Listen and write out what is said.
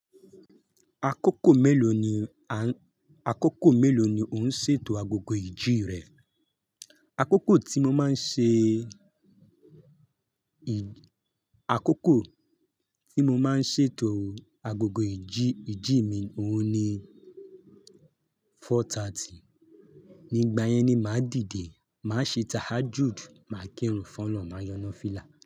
Akókò mélòó ni, akókò mélòó ni ò ń ṣètò agogo ìjì rẹ? Akókò tí mo máa ń ṣe, akókò tí mo máa ń ṣètò agogo ìjì, ìjì mi òun ni four thirty. Nígbà yẹn ni máa dìde, máa ṣe tahajud, máa kírun f'ọ́lọ̀un, máa yan nọfìlà.